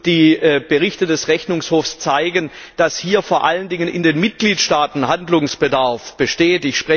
Die Berichte des Rechnungshofs zeigen, dass hier vor allen Dingen in den Mitgliedstaaten Handlungsbedarf besteht.